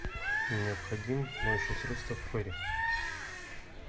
необходимо моющее средство фейри